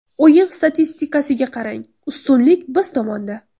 O‘yin statistikasiga qarang, ustunlik biz tomonda.